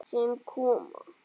Sem koma.